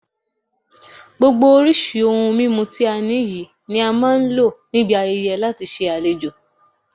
Gbogbo oríṣi ohun mímu ti a ní yìí ni a máa ń lo níbi ayẹyẹ láti fi ṣe àlejò